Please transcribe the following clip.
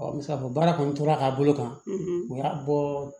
Ɔ n bɛ se k'a fɔ baara kɔni tora ka bolo kan o y'a bɔ